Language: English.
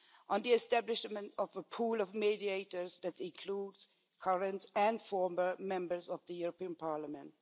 in the establishment of a pool of mediators that includes current and former members of the European Parliament